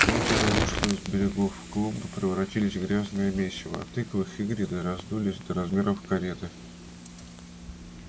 озеро вышло из берегов клумбы превратились в грязное месиво а тыквы хагрида раздулись до размеров кареты